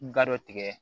Ga dɔ tigɛ